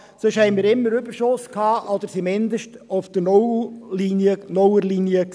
Sonst hatten wir immer Überschüsse oder lagen zumindest auf der Nuller-Linie.